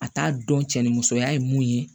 A t'a dɔn cɛnni musoya ye mun ye